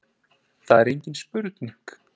Það er engin spurning